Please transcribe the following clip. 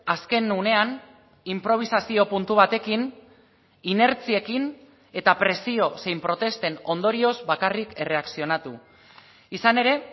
azken unean inprobisazio puntu batekin inertziekin eta presio zein protesten ondorioz bakarrik erreakzionatu izan ere